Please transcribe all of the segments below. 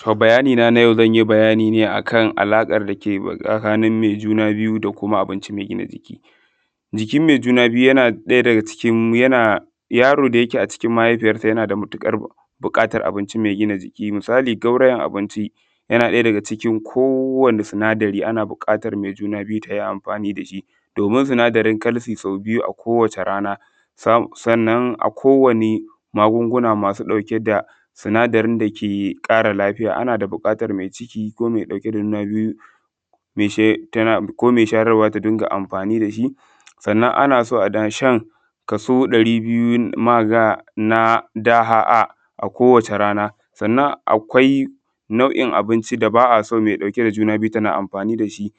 To bayani naa na yau zan yi bayani ne akan alaƙar dake tsakanin mai juna biyu da abinci mai gina jiki. Jikin mai juna biyu yana ɗaya daga cikin yanaa yaro da yake acikin mahaifiyarsa yana matuƙar buƙatar abinci mai gina jiki misali gaurayen abinci yana ɗaya daga cikin kowane sinadari ana buƙatar mai juna biyu ta yi amfaani da shi doomin sinadarin calcium sau biyu a kowace rana sannan a kowane maguguna ma su ɗauke da sinadarin dake ƙara lafiya ana buƙatar mai ciki ko mai ɗauke da juna biyu me she tana ko mai shayarwa ta dinga amfaani da shi. sannan ana so ana shan kaso ɗari biyu maga na da’a a kowace rana sannan akwai nau’in abinci da baa a son mace mai juna biyu tana amfaani da shi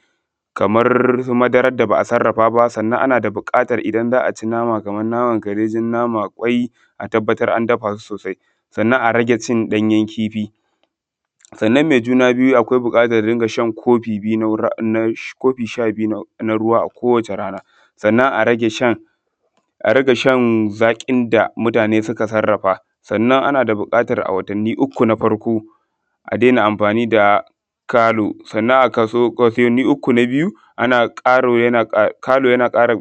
kamar su madarar da ba’a sarrafa baa sannan ana da buƙatar idan za ci nama, kamar naman kar dai jan nama ƙwai a tabbatar an dafaa su soosai, sannan a rage ci ɗanyen kifi. sannan mai juna biyu akwai buƙatar ta dinga shan kofi biyu na ru na sha kofi sha-biyu na ruwa a kowace rana. Sannan a rage shan zaƙin da mutaane suka sarrafa, sannan ana da buƙatar a watanni uku na farko a daina amfaani da kalu sannan a watanni uku na biyu ana ƙaro kalu yana ƙara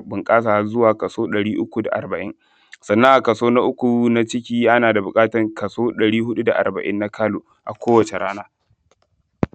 bunƙasa har zuwa kaso ɗari uku da arba’in, sannan a kaso na uku na ciki ana da buƙatar kaso ɗari huɗu da arba’in na kalu kowace rana.